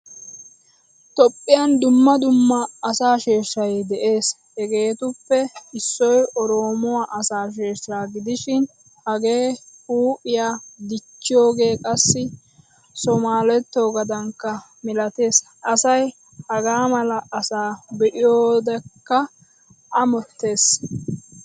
Toophphiyan dumma dumma asaa sheeshay de'ees. Hegetuppe issoy oromuwaa asaa sheeshsha gidishin hage huuphphiyaa dichchiyoge qassi somalettugadankka milatees. Asay haga mala asaa be'iyakkogaada amottays.